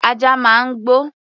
Ajá máa ń gbó.